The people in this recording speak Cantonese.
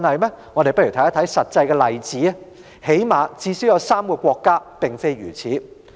一些實際例子說明，最少有3個國家的做法不一樣。